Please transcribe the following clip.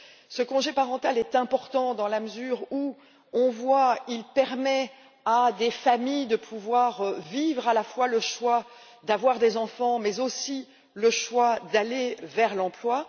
Ce congé parental est important dans la mesure où on le voit il permet à des familles de faire non seulement le choix d'avoir des enfants, mais aussi le choix d'aller vers l'emploi.